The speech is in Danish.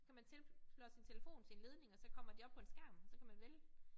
Så kan man tilplotte sin telefon til en ledning og så kommer de op på en skærm og så kan man vælge